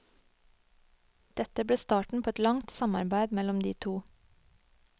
Dette ble starten på et langt samarbeid mellom de to.